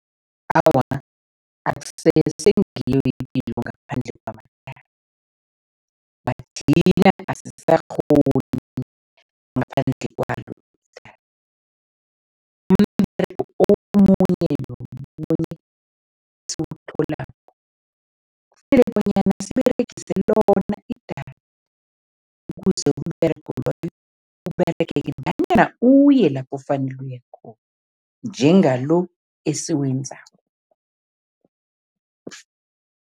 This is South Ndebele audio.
Awa, akusese ngiyo ipilo ngaphandle kwamadatha, asisakghoni ngaphandle kwalo umberego omunye nomunye esiwutholako, kufanele bonyana siberegise lona idatha ukuze umberego loyo Uberegeke nanyana uye lapho ofanele uye khona, njengalo esiwenzako.